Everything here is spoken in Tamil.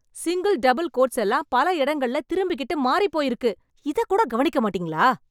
சிங்கிள், டபுள் கோட்ஸ் எல்லாம் பல இடங்கள்ள திரும்பிகிட்டு மாறிப் போய் இருக்கு... இதக்கூட கவனிக்கமாட்டீங்களா?